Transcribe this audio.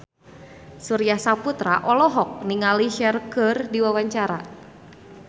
Surya Saputra olohok ningali Cher keur diwawancara